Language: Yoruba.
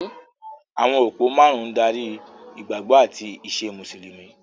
Àwọn òpó márùn-ún ń darí ìgbàgbọ́ àti ìṣe Mùsùlùmí.